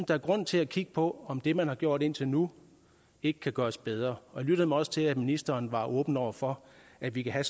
der er grund til at kigge på om det man har gjort indtil nu ikke kan gøres bedre og jeg lyttede mig også til at ministeren var åben over for at vi kan have